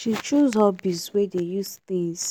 she choose hobbies wey dey use things